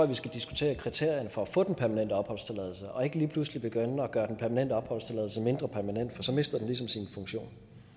vi skal diskutere kriterierne for at få den permanente opholdstilladelse og ikke lige pludselig begynde at gøre den permanente opholdstilladelse mindre permanent for så mister den ligesom sin funktion